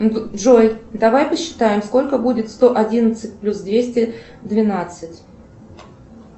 джой давай посчитаем сколько будет сто одиннадцать плюс двести двенадцать